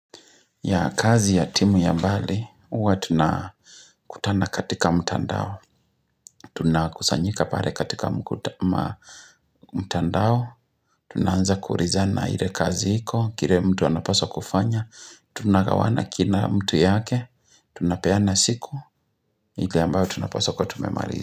Yah kazi ya timu ya mbali, huwa tunakutana katika mtandao. Tunakusanyika pale katika mtandao. Tunaanza kuulizana ile kazi iko, kile mtu anapaswa kufanya. Tunagawana kila mtu yake, tunapeana siku. Ile ambao tunapaswa kuwa tumemaliza.